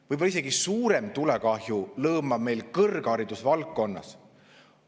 Võib-olla isegi suurem tulekahju lõõmab meil kõrghariduse valdkonnas.